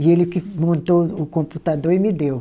E ele que montou o computador e me deu.